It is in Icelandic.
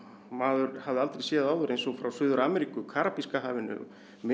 maður hafði aldrei séð áður eins og frá Suður Ameríku Karabíska hafinu Mið